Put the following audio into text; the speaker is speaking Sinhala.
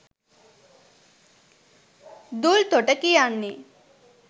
දූල්තොට කියන්නේ